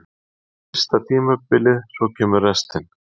Það er fyrsta tímabilið, svo kemur restin.